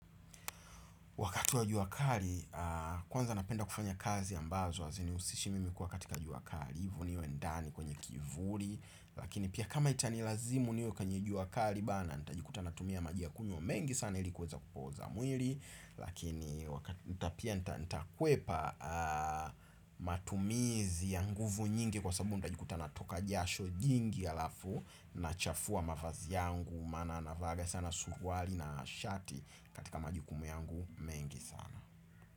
Wakati wa juakali, kwanza napenda kufanya kazi ambazo, aziniusishimi mi kuwa katika juakali, hivo niwe ndani kwenye kivuri, lakini pia kama itanilazimu niwe kwenye juakali bana, ntajikuta natumia majia kunywa mengi sana ilikuweza kupoza mwiri, lakini wakati, ntapia ntakuepa matumizi ya nguvu nyingi kwa sabu ntajikuta natoka jasho jingi alafu, nachafua mafazi yangu, mana navaga sana suruwali na shati katika majikumu yangu. Mengi sana.